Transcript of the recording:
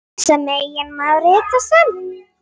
sem einnig má rita sem